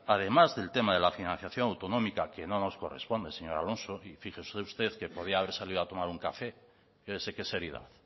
además del tema de la financiación autonómica que no nos corresponde señor alonso y fíjese usted que podía haber salido a tomar un café mire qué seriedad